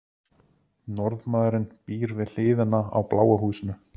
norðmaðurinn býr við hliðina á bláa húsinu